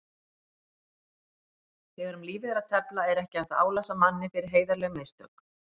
Þegar um lífið er að tefla er ekki hægt að álasa manni fyrir heiðarleg mistök.